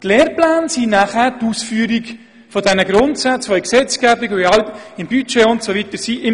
Die Lehrpläne sind dann die Ausführung der Grundsätze, welche in der Gesetzgebung, im Budget usw. im Detail festgehalten sind.